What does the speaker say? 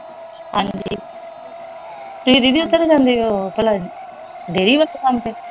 ਤੁਸੀਂ ਦੀਦੀ ਓਥੇ ਨਹੀਂ ਜਾਂਦੇ ਉਹ ਭਲਾ ਡੇਅਰੀ ਵਾਲੇ ਕੰਮ ਤੇ